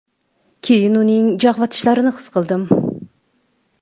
Keyin uning jag‘ va tishlarini his qildim.